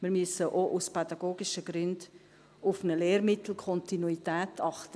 Wir müssen auch aus pädagogischen Gründen auf eine Lehrmittelkontinuität achten.